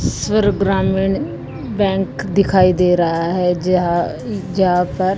स्वर ग्रामीण बैंक दिखाई दे रहा है जहांआ जाकर--